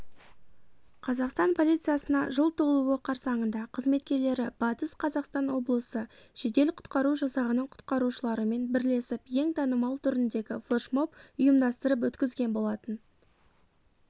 қазақстан полициясына жыл толуы қарсаңында қызметкерлері батыс қазақстан облысы жедел-құтқару жасағының құтқарушыларымен бірлесіп ең танымал түріндегі флешмоб ұйымдастырып өткізген болатын